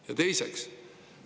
Ja teiseks.